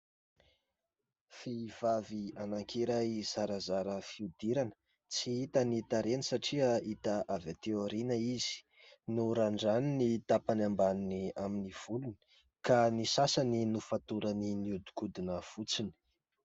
Vehivavy anankiray zarazara fihodirana, tsy hita ny tarehiny satria hita avy aty aoriana izy, norandraniny ny tapany ambany ny amin'ny volony ka ny sasany nofatorany niodikodina fotsiny.